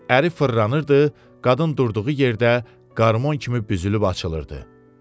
Əri fırlanırdı, qadın durduğu yerdə qarmon kimi büzülüb açılırdı.